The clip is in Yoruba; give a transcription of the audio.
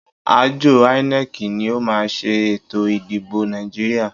Àjọ INEC ni ó máa ṣe ètò ìdìbò Nàìjíríà.